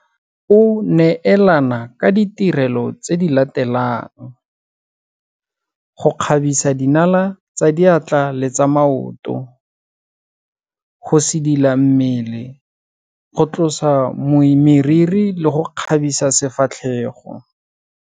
O neelana ka ditirelo tse di latelang - go kgabisa dinala tsa diatla le tsa maoto, go sidila mmele, go tlosa meriri le go kgabisa sefatlhego.